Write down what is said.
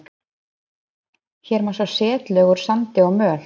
Hér má sjá setlög úr sandi og möl.